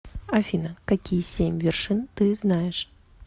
афина какие семь вершин ты знаешь